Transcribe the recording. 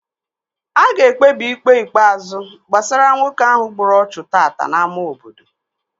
A ga-ekpebi Ikpe ikpeazụ gbasara nwoke ahụ gburu ọchụ tata n'ámá obodo